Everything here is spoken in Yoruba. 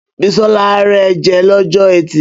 Bísọ́lá rẹ jẹ lọ́jọ́ ẹtì